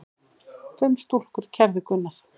Fimm stúlkur kærðu Gunnar.